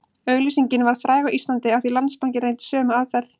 Auglýsingin varð fræg á Íslandi af því Landsbankinn reyndi sömu aðferð